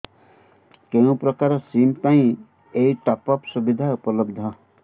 କେଉଁ ପ୍ରକାର ସିମ୍ ପାଇଁ ଏଇ ଟପ୍ଅପ୍ ସୁବିଧା ଉପଲବ୍ଧ